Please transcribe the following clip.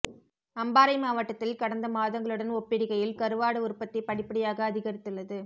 அம்பாறை மாவட்டத்தில் கடந்த மாதங்களுடன் ஒப்பிடுகையில் கருவாடு உற்பத்தி படிப்படியாக அதிகரித்துள்ளது